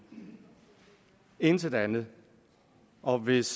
intet andet og hvis